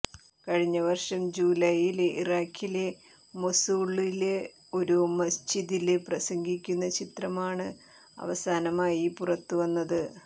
കഴിഞ്ഞ വര്ഷം ജുലൈയില് ഇറാഖിലെ മൊസൂളില് ഒരു മസ്ജിദില് പ്രസംഗിക്കുന്ന ചിത്രമാണ് അവസാനമായി പുറത്തുവന്നത്